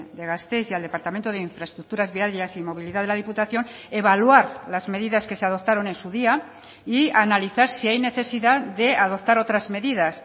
de gasteiz y al departamento de infraestructuras viarias y movilidad de la diputación evaluar las medidas que se adoptaron en su día y analizar si hay necesidad de adoptar otras medidas